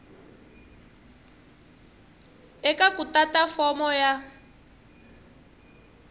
eka ku tata fomo ya